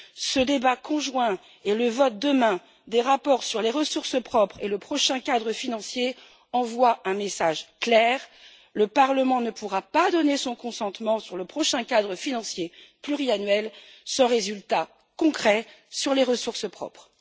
Ce débat conjoint et le vote de demain sur les rapports sur les ressources propres et le prochain cadre financier envoient un message clair le Parlement ne pourra pas donner son consentement sur le prochain cadre financier pluriannuel sans résultat concret sur les ressources propres.